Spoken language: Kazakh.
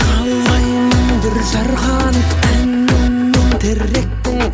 қалаймын бүр жарғанын әнімнің тректің